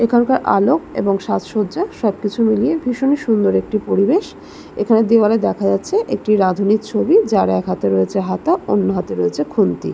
এখানকার আলো এবং সাজসজ্জা সবকিছু মিলিয়ে ভীষণই সুন্দর একটি পরিবেশ এখানে দেওয়ালে দেখা যাচ্ছে একটি রাধুঁনীর ছবি যার একহাতে রয়েছে হাতা অন্য্ হাতে রয়েছে খুন্তি ।